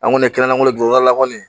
An kɔni kɛnɛya juru la kɔni